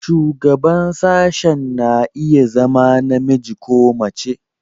Shugaban sashen na iya zama namiji ko mace.